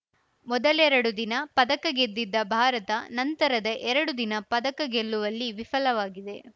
ಮೊದಲೆರಡು ದಿನ ಪದಕ ಗೆದ್ದಿದ್ದ ಭಾರತ ನಂತರದಎರಡು ದಿನ ಪದಕ ಗೆಲ್ಲುವಲ್ಲಿ ವಿಫಲವಾಗಿದೆ